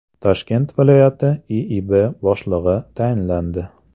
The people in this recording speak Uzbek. Toshkent viloyati IIB boshlig‘i tayinlandi.